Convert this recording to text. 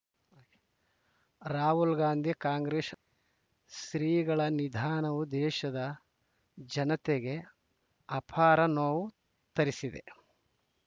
ರಾಹುಲ್‌ ಗಾಂಧಿ ಕಾಂಗ್ರೆಶ್ ಶ್ರೀಗಳ ನಿಧನವು ದೇಶದ ಜನತೆಗೆ ಅಪಾರ ನೋವು ತರಿಸಿದೆ